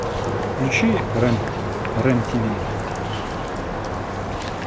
включи рен ти ви